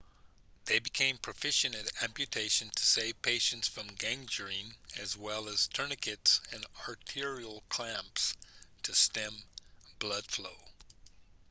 they became proficient at amputation to save patients from gangrene as well as tourniquets and arterial clamps to stem blood flow